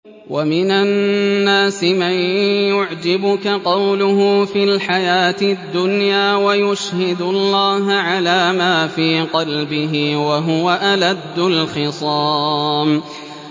وَمِنَ النَّاسِ مَن يُعْجِبُكَ قَوْلُهُ فِي الْحَيَاةِ الدُّنْيَا وَيُشْهِدُ اللَّهَ عَلَىٰ مَا فِي قَلْبِهِ وَهُوَ أَلَدُّ الْخِصَامِ